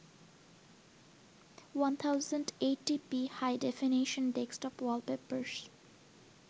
1080p High-definition desktop wallpapers